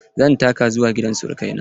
Zan taka zuwa gidan sirukai na.